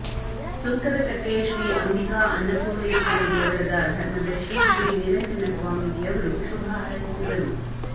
ಸುಂಕದಕಟ್ಟೆ ಶ್ರೀ ಅಂಬಿಕಾ ಅನ್ನಪೂಣರ್ೇಶ್ವರೀ ದೇವಳದ ಧರ್ಮದಶರ್ಿ ಶ್ರೀ ನಿರಂಜನ ಸ್ವಾಮೀಜಿ ಅವರು ಶುಭ ಹಾರೈಸಿದರು